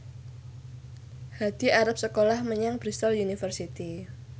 Hadi arep sekolah menyang Bristol university